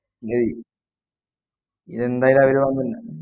they ഇതെന്തായാലും അവര്